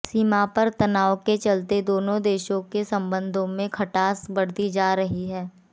सीमा पर तनाव के चलते दोनों देशों के संबंधों में खटास बढ़ती जा रही है